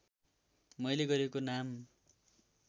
मैले गरेको नाम